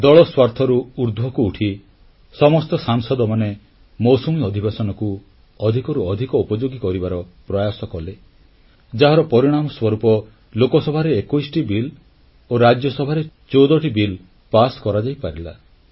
ଦଳ ସ୍ୱାର୍ଥରୁ ଉର୍ଦ୍ଧ୍ବକୁ ଉଠି ସମସ୍ତ ସାଂସଦ ମୌସୁମୀ ଅଧିବେଶନକୁ ଅଧିକରୁ ଅଧିକ ଉପଯୋଗୀ କରିବାର ପ୍ରୟାସ କଲେ ଯାହାର ପରିଣାମ ସ୍ୱରୂପ ଲୋକସଭାରେ 21ଟି ବିଲ୍ ଓ ରାଜ୍ୟସଭାରେ 14ଟି ବିଲ୍ ପାସ କରାଯାଇପାରିଲା